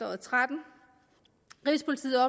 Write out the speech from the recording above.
og tretten rigspolitiet